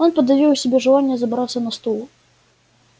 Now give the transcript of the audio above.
он подавил в себе желание забраться на стул